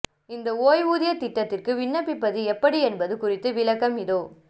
இந்த ஓய்வூதிய திட்டத்திற்கு விண்ணப்பிப்பது எப்படி என்பது குறித்த விளக்கம் இதோ